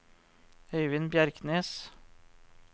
Øyvind Bjerknes